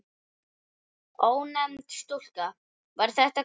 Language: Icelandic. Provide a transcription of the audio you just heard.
Ónefnd stúlka: Var þetta kalt?